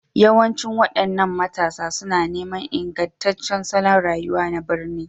Yawancin waɗannan matasa suna neman ingantaccen salon rayuwa na birni,